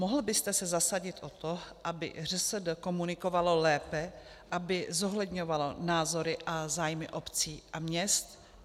Mohl byste se zasadit o to, aby ŘSD komunikovalo lépe, aby zohledňovalo názory a zájmy obcí a měst?